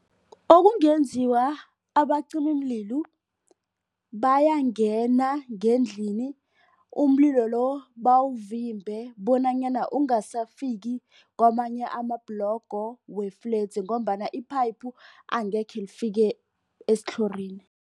Okungenziwa abacimimlilo bayangena ngendlini umlilo lo bawuvimbe bonanyana ungasafiki kwamanye ama-blongo wefledzi ngombana iphayiphi angekhe lifike esithlorini.